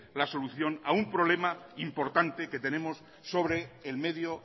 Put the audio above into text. la solución a un problema importante que tenemos sobre el medio